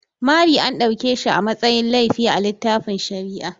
Mari an dauke shi a matsayin laifi a littafin shari'a.